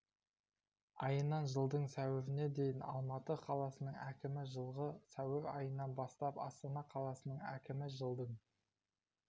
айынан жылдың сәуіріне дейін алматы қаласының әкімі жылғы сәуір айынан бастап астана қаласының әкімі жылдың